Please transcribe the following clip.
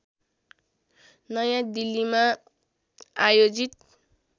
नयाँ दिल्लीमा आयोजित